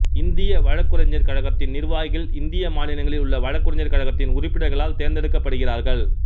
இந்திய வழக்குரைஞர் கழகத்தின் நிர்வாகிகள் இந்திய மாநிலங்களில் உள்ள வழக்குரைஞர் கழகத்தின் உறுப்பினர்களால் தேர்ந்தெடுக்கப்படுகிறார்கள்